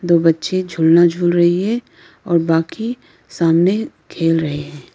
दो बच्चे झूलना झूल रही है और बाकी सामने खेल रहे हैं।